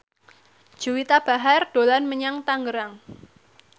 Juwita Bahar dolan menyang Tangerang